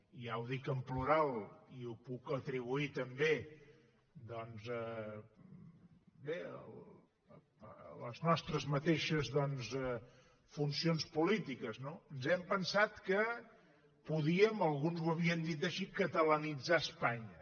i ja ho dic en plural i ho puc atribuir també bé a les nostres mateixes funcions polítiques ens hem pensat que podíem alguns ho havien dit així catalanitzar espanya